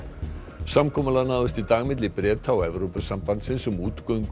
samkomulag náðist í dag milli Breta og Evrópusambandsins um útgöngu